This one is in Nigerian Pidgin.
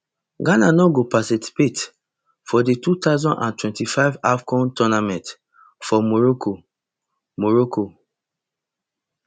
ghana no go participate for di two thousand and twenty-five afcon tournament for morocco morocco